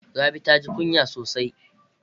Rabi taji kunya sosai.